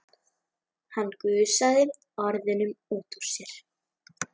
Hann gusaði orðunum út úr sér.